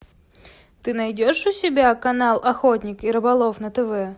ты найдешь у себя канал охотник и рыболов на тв